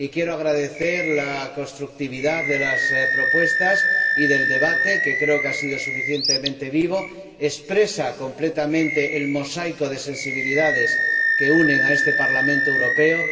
Y quiero agradecer la constructividad de las propuestas y del debate, que creo que ha sido suficientemente vivo y expresa completamente el mosaico de sensibilidades que unen a este Parlamento Europeo.